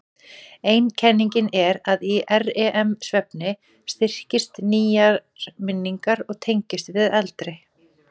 Ein kenningin er að í REM-svefni styrkist nýjar minningar og tengist við eldri.